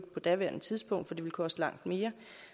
på daværende tidspunkt for det ville koste langt mere